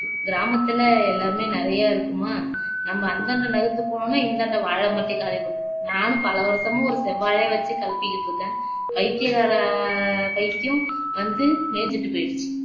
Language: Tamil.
கிராமத்துலே எல்லாமே நிறையா இருக்குமா நம்ம அந்தாண்ட நகர்ந்து போனோம்னா இந்தாண்ட வாழைமரத்தையே காளிபண்ணீரும் நானும் பல வருஷமா ஒரு செவ்வாழைய வச்சு கெளப்பிக்கிட்டு இருக்குறேன் பைத்தியக்கார பைத்தியம் வந்து மேஞ்சுட்டு போயிருச்சு